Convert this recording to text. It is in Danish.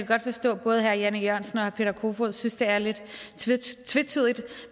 godt forstå at både herre jan e jørgensen og herre peter kofod synes det er lidt tvetydigt